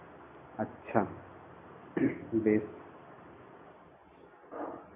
আচ্ছা বেশ